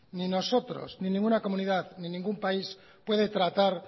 ni nosotros ni ninguna comunidad ni ningún país puede tratar